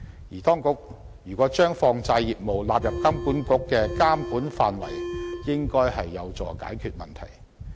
如果當局把放債業務納入金管局的監管範圍，便應該有助解決問題。